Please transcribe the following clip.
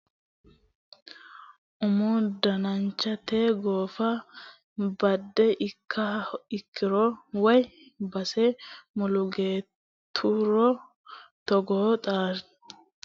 Umu dananchi tatae goofe badde ikkiha ikkiro woyi base mulugatturo togoo xaggicho qamame loonsoniha horonsi'nanni yinanni coyi'nanna macciishshommonna isi mageeshsha buuxaminoretikka.